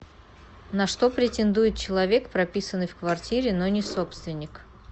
на что претендует человек прописанный в квартире но не собственник